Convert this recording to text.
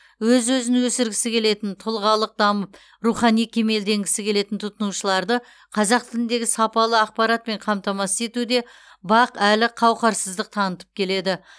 өз өзін өсіргісі келетін тұлғалық дамып рухани кемелденгісі келетін тұтынушыларды қазақ тіліндегі сапалы ақпаратпен қамтамасыз етуде бақ әлі қауақарсыздық танытып келеді